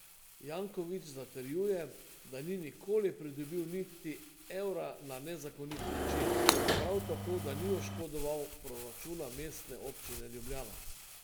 Janković zatrjuje, da ni nikoli pridobil niti evra na nezakonit način, prav tako da ni oškodoval proračuna Mestne občine Ljubljana.